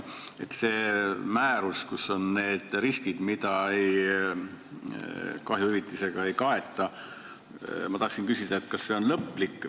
Ma tahan küsida, kas see määruse nimekiri, kus on need riskid, mida kahjuhüvitisega ei kaeta, on lõplik.